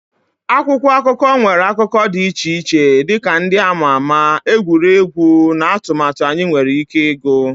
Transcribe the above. Akwụkwọ akụkọ nwere akụkụ dị iche-iche dị ka ndị a ma ama, egwuregwu, na atụmatụ anyị nwere ike ịgụ.